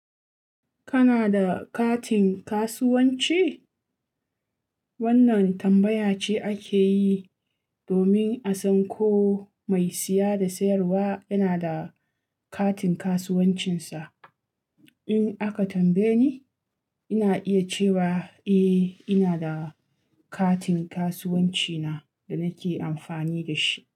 Kana da katin kasuwanci? Wannan tambaya ce ake yi domin a san ko mai siya da sayarwa yana da katin kasuwancinsa. In aka tambaye ni, ina iya cewa eh ina da katin kasuwanci na da nake amfani da shi.